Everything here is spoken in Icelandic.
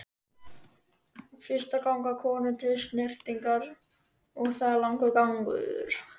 Fyrst ganga konur til snyrtingar og það er langur gangur.